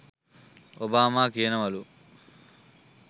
Obama කියනවලු